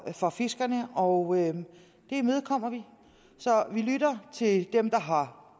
for fiskerne og det imødekommer vi så vi lytter til dem der har